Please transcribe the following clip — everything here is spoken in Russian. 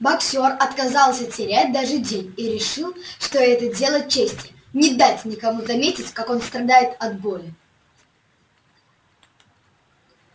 боксёр отказался терять даже день и решил что это дело чести не дать никому заметить как он страдает от боли